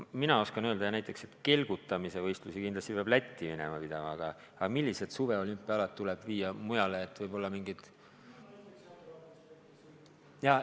Ma oskan öelda, et jah, näiteks kelgutamise võistlusi kindlasti peab minema Lätti pidama, aga millised suvised olümpiaalad tuleb viia mujale?